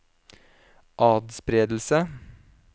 atspredelse